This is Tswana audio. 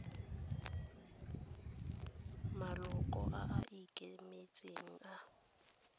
maloko a a ikemetseng a